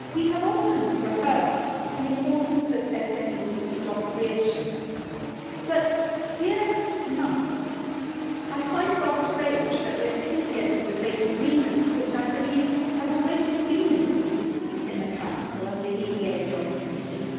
We have often rehearsed the importance of SMEs to job creation, but here tonight I find it rather strange that we are sitting here to debate agreements which I believe have already been agreed in the Council and the EEA Joint Committee.